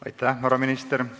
Aitäh, härra minister!